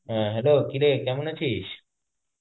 হ্যাঁ hello কি রে কেমন আছিস?